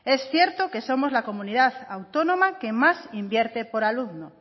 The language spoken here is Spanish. es cierto que somos la comunidad autónoma que más invierte por alumno